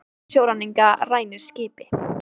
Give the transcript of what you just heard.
Hópur sjóræningja rænir skipi